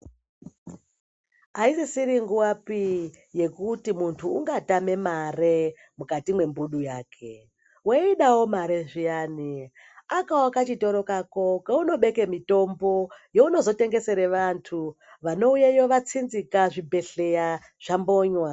Aisisiri nguvapi yekuti muntu ungatame mari mukati mwembudu yake weidawo mare zviyani akawo kachitoro kako kaunobeka mitombo yaunozotengesera vantu vanouyeyo vatsinzika zvibhedhlera zvambonywa .